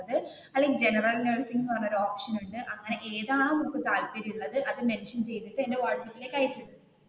അല്ലെങ്കിൽ ജനറൽ നേഴ്സിങ്എന്ന് പറഞ്ഞ ഒരു ഓപ്ഷൻ ഉണ്ട് അങ്ങനെ ഇതാണോ നിനക്ക് താല്പര്യമുള്ളത് അത് മെൻഷൻ ചെയ്തു എന്റെ വാട്സാപ്പിലെക്ക് അയക്കു.